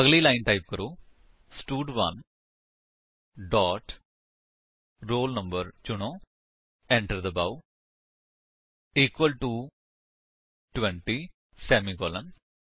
ਅਗਲੀ line type ਕਰੋ ਸਟਡ1 ਡੋਟ roll no ਚੁਨੇਂ ਏੰਟਰ ਦਬਾਓ ਇਕੁਅਲ ਟੋ 20 ਸੇਮੀਕਾਲਨ